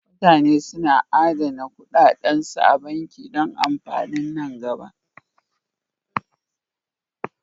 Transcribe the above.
Mutane na adana kuɗaɗansu a banki don amfanin nan gaba.